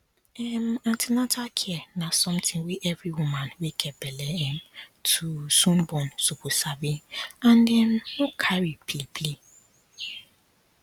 um an ten atal care na something wey every woman wey get belle um to soon born suppose sabi and um no carry play play